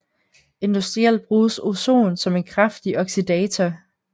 Industrielt bruges ozon som en kraftig oxidator